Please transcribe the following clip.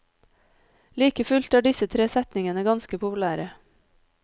Like fullt er disse tre setningene ganske populære.